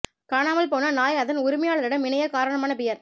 காணாமல் போன நாய் அதன் உரிமையாளரிடம் இணைய காரணமான பியர்